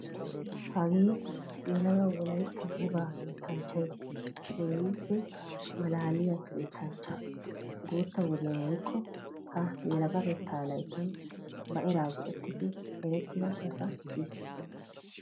Hagee yelaga wolaytta wogaa yettanchchayi keehippe maalaaliyaa yettanchcha. Guutta wodiyaan woyikko ha yelagatetta layittan ba eraa go''ettidi erettida asa kiyis.